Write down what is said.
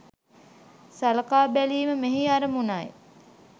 සලකා බැලීම මෙහි අරමුණයි.